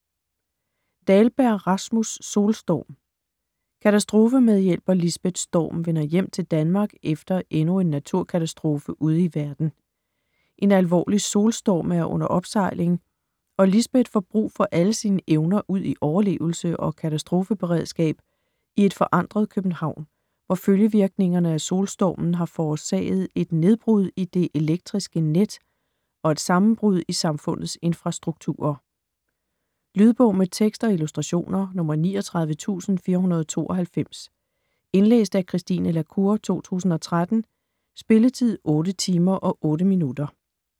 Dahlberg, Rasmus: Solstorm Katastrofemedhjælper Lisbeth Storm vender hjem til Danmark efter endnu en naturkatastrofe ude i verden. En alvorlig solstorm er under opsejling og Lisbeth får brug for alle sine evner udi overlevelse og katastrofeberedskab i et forandret København, hvor følgevirkningerne af solstormen har forårsaget et nedbrud i det elektriske net og et sammenbrud i samfundets infrastrukturer. Lydbog med tekst og illustrationer 39492 Indlæst af Christine la Cour, 2013. Spilletid: 8 timer, 8 minutter.